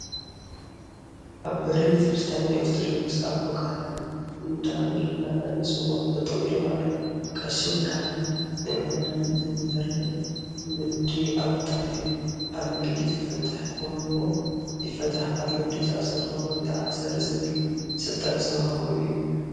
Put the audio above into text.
ኣብ በሪ ቤተ-ክርስትያ ናይ ኦርቶዶክስ ኣቦ ካህን እንዳበልና እንፅወዖም ጠጠው ኢሎም ኣለው። ቀሺ ወይ ካህን ንምእመናን ዘምህር ናይ ምድሪ ኣቦታት እዮም ።ኣብ ምድሪ ዝፈታሕኹምዎ ይፈታሕ ኣብ ምድሪ ዝኣሰርኩምዎ ይተኣሰር ዝብል ስልጣን ዝተወሃቦም እዮም።